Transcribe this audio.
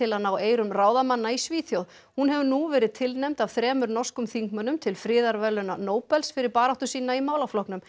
að ná eyrum ráðamanna í Svíþjóð hún hefur nú verið tilnefnd af þremur norskum þingmönnum til friðarverðlauna Nóbels fyrir baráttu sína í málaflokknum